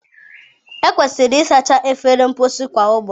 Ekwesịrị ịsacha efere mposi kwa ụbọchị.